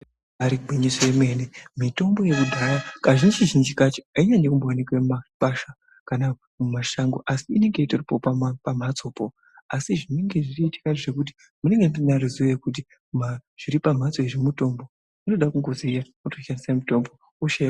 Ibaari gwinyiso yemene, mitombo yekudhaya kazhinji-zhinji kacho, ainyanyi kumbooneke mumakwasha kana mumashango, asi inenge itoripo pamhatsopo, asi zvinenge zvichiitika ngezvekuti munenge tisina ruzivo rwekuti, zviri pamhatso izvi mutombo. Zvinoda kungoziya wotoshandise mitombo, hosha ....